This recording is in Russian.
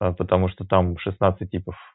а потому что там шестнадцать типов